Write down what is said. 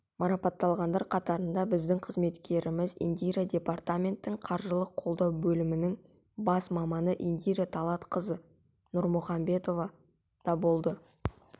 марапатталғандар қатарында біздің қызметкеріміз индира департаментінің қаржылық қолдау бөлімінің бас маманы индира талкатқызы нұрмұхамбетова да болды